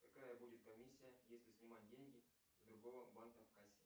какая будет комиссия если снимать деньги с другого банка в кассе